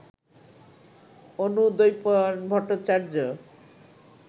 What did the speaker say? Anudwaipayan Bhattacharya